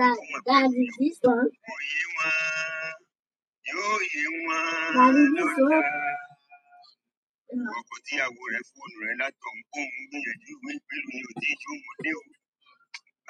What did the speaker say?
Ọkọ tí ìyàwó rẹ fóònù un rẹ látọ̀ uń pe un gbìyànjú omi gbígbé ní òtí jẹ òun dé ò.